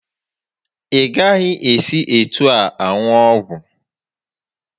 Ị gaghị esi etu ahụ aṅụ ọgwụ!